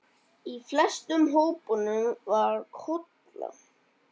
Í flestum hópunum var Kolla.